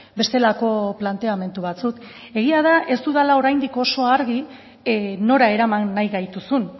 bestelako planteamendu batzuk egia da ez dudala oraindik oso argi nora eraman nahi gaituzun